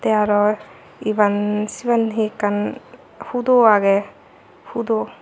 tee aro iban siben he ekkan hudo agey hudo.